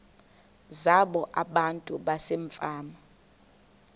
zabo abantu basefama